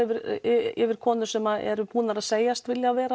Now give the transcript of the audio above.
yfir konur sem eru búnar að segjast vilja